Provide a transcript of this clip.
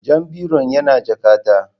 Jan biron yana jakata